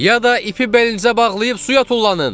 Ya da ipi belinizə bağlayıb suya tullanın!